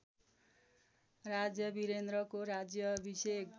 राजा वीरेन्द्रको राज्याभिषेक